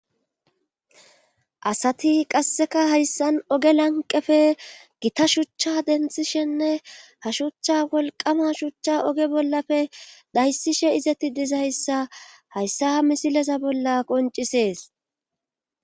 asati qasseka hayssan oge lanqefe gita shuchcha denthishenne ha shuchcha wolqama shuchcha oge bollafe dayssishe izetti dizaayssa hayssa misileza bolla qoncisees